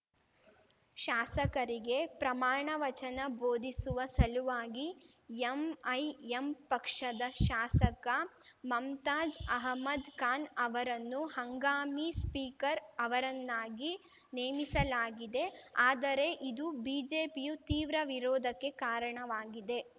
ಶಾಸಕರಿಗೆ ಪ್ರಮಾಣವಚನ ಬೋಧಿಸುವ ಸಲುವಾಗಿ ಎಂಐಎಂ ಪಕ್ಷದ ಶಾಸಕ ಮಮ್ತಾಜ್‌ ಅಹಮದ್‌ ಖಾನ್‌ ಅವರನ್ನು ಹಂಗಾಮಿ ಸ್ಪೀಕರ್‌ ಅವರನ್ನಾಗಿ ನೇಮಿಸಲಾಗಿದೆ ಆದರೆ ಇದು ಬಿಜೆಪಿಯು ತೀವ್ರ ವಿರೋಧಕ್ಕೆ ಕಾರಣವಾಗಿದೆ